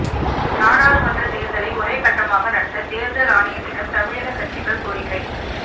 நாடாளுமன்ற தேர்தலை ஒரே கட்டமாக நடத்த தேர்தல் ஆணையத்திடம் தமிழக கட்சிகள் கோரிக்கை